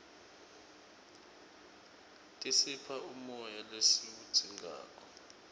tisipha umoya lesiwudzingako